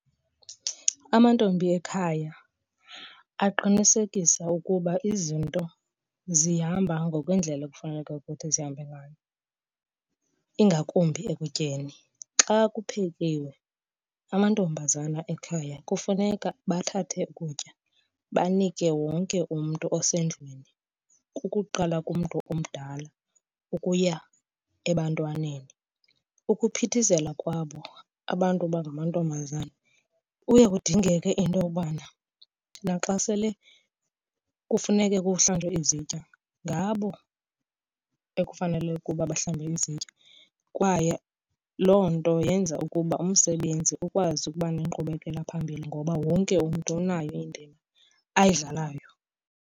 Amantombi ekhaya aqinisekisa ukuba izinto zihamba ngokwendlela ekufuneka ukuthi zihambe ngayo ingakumbi ekutyeni. Xa kuphekiwe amantombazana ekhaya kufuneka bathathe ukutya banike wonke umntu osendlini kukuqala kumntu omdala ukuya ebantwaneni. Ukuphithizela kwabo abantu bangamantombazana kuye kudingeke into yobana naxa sele kufuneke kuhlanjwe izitya, ngabo ekufanele ukuba bahlambe izitya. Kwaye loo nto yenza ukuba umsebenzi ukwazi ukuba nenkqubekela phambili ngoba wonke umntu unayo indima ayidlalayo.